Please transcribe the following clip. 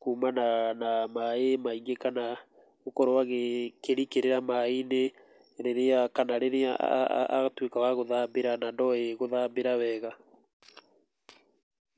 kuumana na maĩ maingĩ, kana gũkorwo akĩrikĩra maĩ-inĩ, kana rĩrĩa atuĩka wa gũthambĩra na ndoĩ gũthambĩra wega.